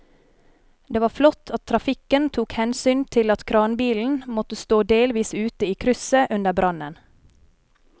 Det var flott at trafikken tok hensyn til at kranbilen måtte stå delvis ute i krysset under brannen.